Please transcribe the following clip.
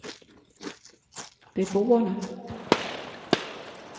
beboerne